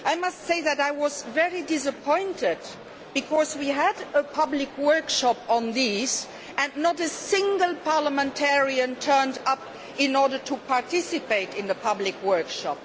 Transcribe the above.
I must say that I was very disappointed because we had a public workshop on this and not a single parliamentarian turned up to participate in the workshop.